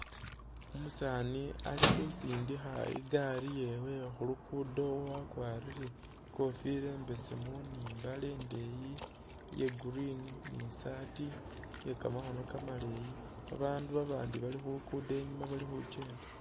Umusaani ali khusindikha i’gari yewe khulugudo wakwarire ikofila imbeesemu ni imbale indeyi iya green ni shirt iye kamakhono kamaleyi babaandu babandi bali khulugudo inyuma bali khukyenda.